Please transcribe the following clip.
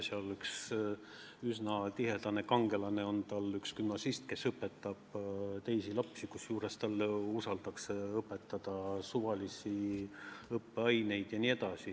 Tal on üks kangelane üks gümnasist, kes õpetab teisi lapsi, kusjuures talle usaldatakse õpetada suvalisi õppeaineid.